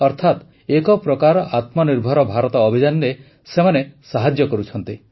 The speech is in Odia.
ଅର୍ଥାତ ଏକପ୍ରକାର ଆତ୍ମନିର୍ଭର ଭାରତ ଅଭିଯାନରେ ସେମାନେ ସାହାଯ୍ୟ କରୁଛନ୍ତି